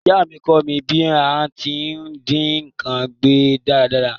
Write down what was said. Ìyá mí kọ́ mí bí a ti n dín nkan gbẹ dáradára